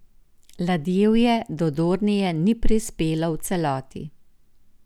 Ladjevje do Dornije ni prispelo v celoti.